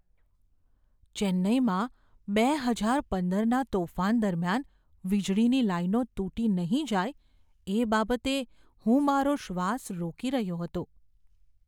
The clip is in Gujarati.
ચેન્નાઈમાં બે હજાર પંદરના તોફાન દરમિયાન વીજળીની લાઈનો તૂટી નહીં જાય એ બાબતે હું મારો શ્વાસ રોકી રહ્યો હતો.